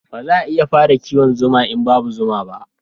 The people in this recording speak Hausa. Ba za a iya fara kiwon zuma in babu zuma ba